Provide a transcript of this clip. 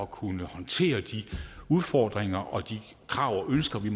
kunne håndtere de udfordringer og de krav og ønsker vi